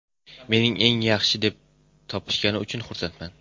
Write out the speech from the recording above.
Meni eng yaxshi deb topishgani uchun xursandman.